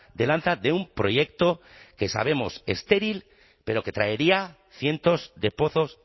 de lanza de un proyecto que sabemos estéril pero que traería cientos de pozos